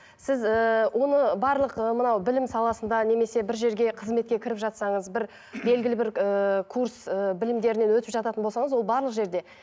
сіз ііі оны барлық ы мынау білім саласында немесе бір жерге қызметке кіріп жатсаңыз бір белгілі бір ыыы курс ыыы білімдерінен өтіп жататын болсаңыз ол барлық жерде